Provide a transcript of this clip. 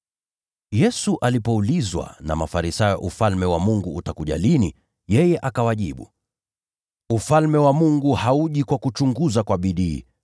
Yesu alipoulizwa na Mafarisayo Ufalme wa Mungu utakuja lini, yeye akawajibu, “Ufalme wa Mungu hauji kwa kuchunguza kwa bidii,